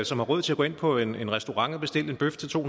som har råd til at gå ind på en restaurant og bestille en bøf til to